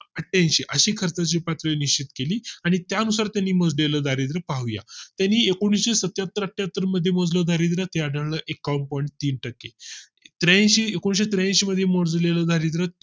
अठ्ठ्याऐंशी अशी खर्चाची पातळी निश्चित केली आणि त्यानुसार त्यांनी मोज ले दारिद्र पाहूया यांनी एकुणिशे सत्याहत्तर अठ्ठ्याहत्तर मोजलेले दारिद्र आढळलं एकावन्न point point तीन टक्के अं एकूणशे त्र्याऐंशी मध्ये मोजलेले दारिद्य